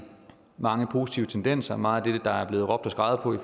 mange positive tendenser meget af det der er blevet råbt og skreget på det